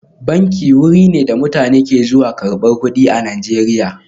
Banki wuri ne da mutane ke zuwa karbar kudi a Najeriya